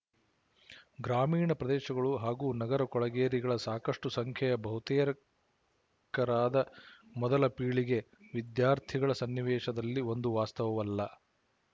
ಗ್ರಾಮೀಣ ಪ್ರದೇಶಗಳು ಹಾಗೂ ನಗರ ಕೊಳಗೇರಿಗಳ ಸಾಕಷ್ಟು ಸಂಖ್ಯೆಯ ಬಹುತೇಕರಾದ ಮೊದಲ ಪೀಳಿಗೆ ವಿದ್ಯಾರ್ಥಿಗಳ ಸನ್ನಿವೇಶದಲ್ಲಿ ಒಂದು ವಾಸ್ತವವಲ್ಲ